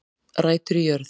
Rætur í jörð